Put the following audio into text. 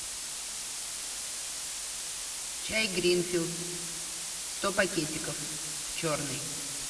чай гринфилд сто пакетиков черный